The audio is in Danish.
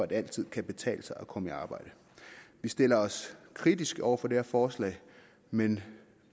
det altid kan betale sig at komme i arbejde vi stiller os kritisk over for det her forslag men